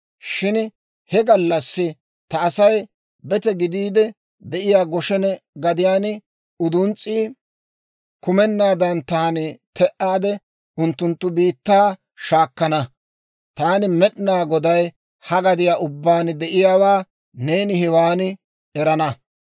Shin he gallassi ta Asay bete gidiide de'iyaa Goshena gadiyaan uduns's'ii kumenaadan taani te'aade, unttunttu biittaa shaakana; Taani Med'inaa Goday, ha gadiyaa ubbaan de'iyaawaa neeni hewaan erana.